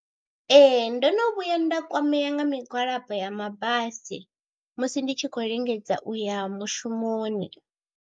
Ee ndo no vhuya nda kwamea nga migwalabo ya mabasi musi ndi tshi khou lingedza u ya mushumoni.